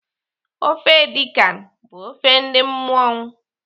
Ofe edi kan bụ ofe ndị mmọṅụ.